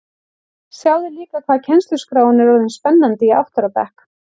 Sjáðu líka hvað kennsluskráin er orðin spennandi í átta ára bekk